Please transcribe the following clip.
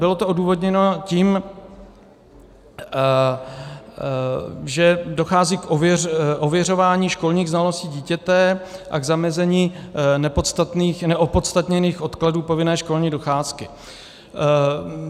Bylo to odůvodněno tím, že dochází k ověřování školních znalostí dítěte a k zamezení neopodstatněných odkladů povinné školní docházky.